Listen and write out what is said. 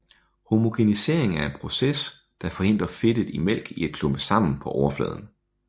Homogenisering er en proces der forhindrer fedtet i mælk i at klumpe sammen på overfladen